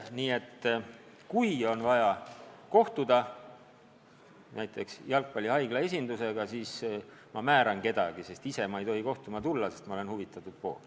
Nii et kui on vaja kohtuda näiteks Jalgpallihaigla esindusega, siis ma määran kedagi – ma ise ei tohi kohtuma tulla, sest ma olen huvitatud pool.